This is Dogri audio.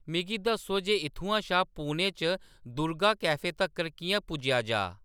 मिगी दस्सो जे इत्थुआं शा पुणे च दुर्गा कैफे तक्कर किʼयां पुज्जेआ जाऽ